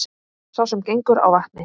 Sá sem gengur á vatni